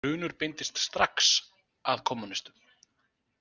Grunur beindist strax að kommúnistum.